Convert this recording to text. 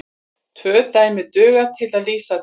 Tvö dæmi duga til að lýsa því.